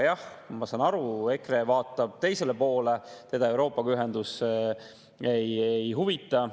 Jah, ma saan aru, et EKRE vaatab teisele poole, teda ühendus Euroopaga ei huvita.